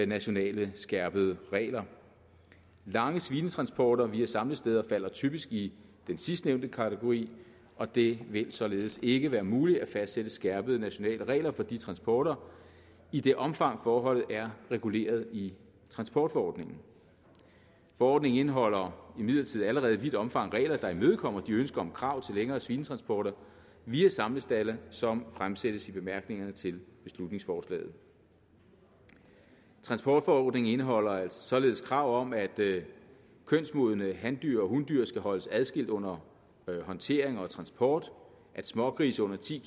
nationale skærpede regler lange svinetransporter via samlesteder falder typisk i den sidstnævnte kategori og det vil således ikke være muligt at fastsætte skærpede nationale regler for de transporter i det omfang forholdet er reguleret i transportforordningen forordningen indeholder imidlertid allerede i vidt omfang regler der imødekommer de ønsker om krav til længere svinetransporter via samlestalde som fremsættes i bemærkningerne til beslutningsforslaget transportforordningen indeholder således krav om at kønsmodne handyr og hundyr skal holdes adskilt under håndtering og transport at smågrise under ti